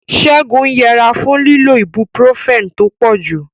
Ségun ń yẹra fún lílo ibuprofen tó pọ̀jù.